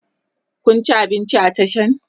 Kun ci abinci a Tashan?